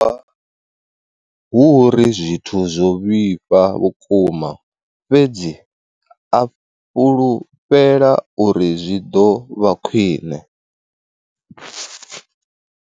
Hu uri zwithu zwo vhifha vhukuma, fhedzi a fhulufhela uri zwi ḓo vha khwiṋe.